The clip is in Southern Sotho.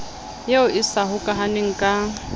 eo e sa hokahaneng ka